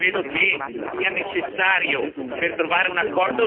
Io credo che per trovare un accordo sia necessario